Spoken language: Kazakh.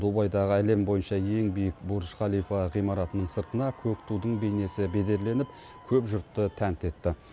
дубайдағы әлем бойынша ең биік бурдж халифа ғимаратының сыртына көк тудың бейнесі бедерленіп көп жұртты тәнті етті